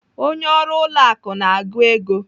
Onye ọrụ ụlọ akụ na-agụ ego.